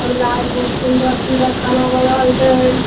सुन्दर-सुन्दर खाना बनल छेय।